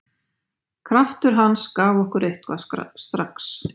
Kraftur hans gaf okkur eitthvað strax.